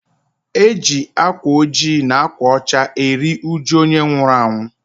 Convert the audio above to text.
E ji akwa ojii na akwa ọcha eri ụjụ onye nwụrụ anwụ